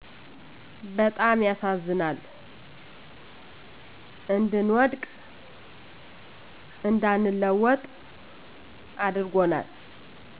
በጣም ያሳዝናል እንድንወድቅ እንዳንለወጥ አድርጎናል።